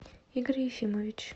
игорь ефимович